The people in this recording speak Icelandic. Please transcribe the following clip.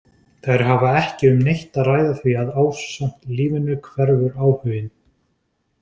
Þær hafa ekki um neitt að ræða því að ásamt lífinu hverfur áhuginn.